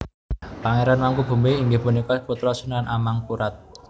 Pangeran Mangkubumi inggih punika putra Sunan Amangkurat